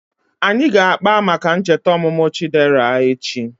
Anyị ga-akpa maka ncheta ọmụmụ Chidera echi